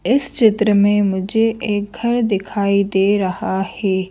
इस चित्र में मुझे एक घर दिखाई दे रहा है।